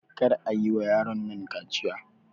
Kar ayi wa yaron nan kaciya!